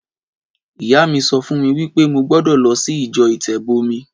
Ìyá mí sọ fún mi wípé mo gbọ́dọ̀ lọ sí ìjọ ìtẹ̀bọmi